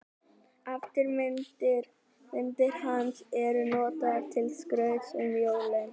Eftirmyndir hans eru notaðar til skrauts um jólin.